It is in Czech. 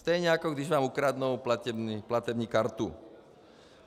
Stejně jako když vám ukradnou platební kartu.